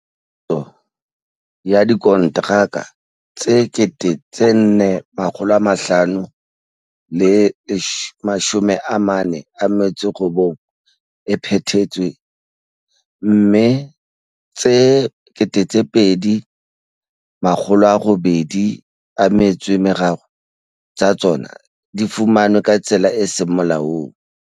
Phuputso ya dikontraka tse 4 549 e phethetswe, mme tse 2 803 tsa tsona di fumanwe ka tsela e seng molaong.